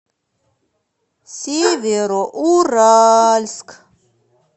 североуральск